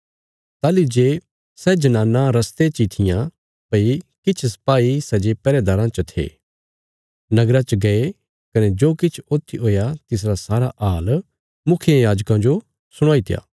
ताहली जे सै जनानां रस्ते ची थिआं भई किछ सपाई सै जे पैहरेदाराँ च थे नगरा च गये कने जो किछ ऊत्थी हुया तिसरा सारा हाल मुखियायाजकां जो सुणाईत्या